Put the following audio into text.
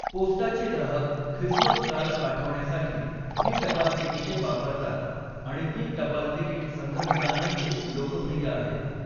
पोस्टाचे ग्राहक Christmas card पाठवण्यासाठी ही टपाल तिकिटे वापरतात आणि ती टपाल तिकिट संग्रहकांमध्ये लोकप्रिय आहेत.